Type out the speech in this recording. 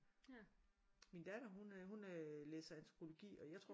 Min datter hun øh hun læser antropologi og jeg tror